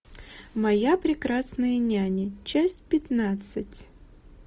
моя прекрасная няня часть пятнадцать